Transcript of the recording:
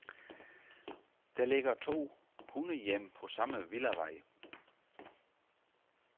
Der ligger to hundehjem på samme villavej.